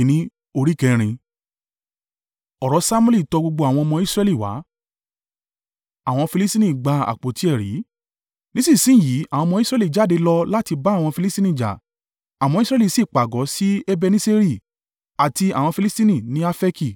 Ọ̀rọ̀ Samuẹli tọ gbogbo àwọn ọmọ Israẹli wá. Nísinsin yìí àwọn ọmọ Israẹli jáde láti lọ bá àwọn Filistini jà. Àwọn ọmọ Israẹli sì pàgọ́ sí Ebeneseri àti àwọn Filistini ní Afeki.